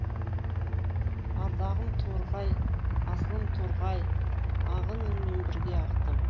ардағым торғай асылым торғай ағыныңмен бірге ақтым